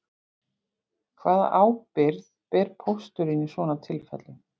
Hvaða ábyrgð ber pósturinn í svona tilfellum